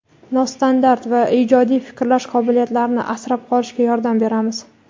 nostandart va ijodiy fikrlash qobiliyatlarini asrab qolishga yordam beramiz.